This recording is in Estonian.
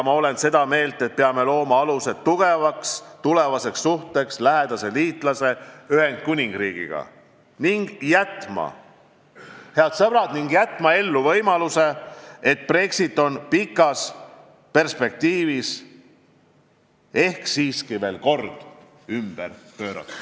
Olen seda meelt, et peame looma aluse tugevaks tulevaseks suhteks lähedase liitlase Ühendkuningriigiga ning, head sõbrad, jätma ellu võimaluse, et Brexit on pikas perspektiivis ehk siiski veel kord ümberpööratav.